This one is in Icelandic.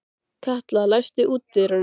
Katla, læstu útidyrunum.